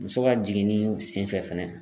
Muso ka jiginni sen fɛ fɛnɛ